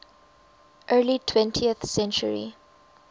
early twentieth century